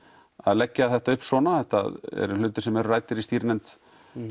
leggja þetta upp svona þetta eru hlutir sem eru ræddir í stýrinefnd